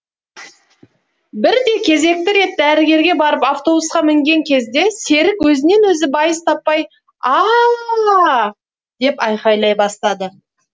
бірде кезекті рет дәрігерге барып автобусқа мінген кезде серік өзінен өзі байыз таппай а а а ааа деп айқайлай бастады